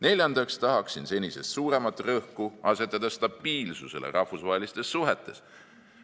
Neljandaks tahaksin senisest suuremat rõhku asetada stabiilsusele rahvusvahelistes suhetes.